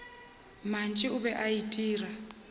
mantši o be a itira